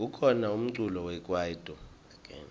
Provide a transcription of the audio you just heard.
kukhona umculo wekwaito